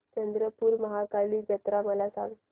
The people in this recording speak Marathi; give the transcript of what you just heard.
चंद्रपूर महाकाली जत्रा मला सांग